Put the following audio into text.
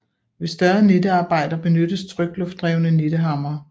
Ved større nittearbejder benyttes trykluftdrevne nittehamre